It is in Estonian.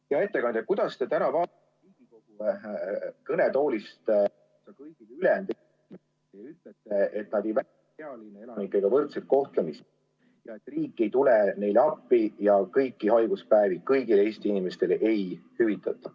Hea ettekandja, kuidas te täna kõnetoolist kõigi ülejäänud... ... et nad ei saa pealinna elanikega võrdset kohtlemist, et riik ei tule neile appi ja kõiki haiguspäevi kõigile Eesti inimestele ei hüvitata?